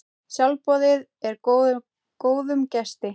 Sjálfboðið er góðum gesti.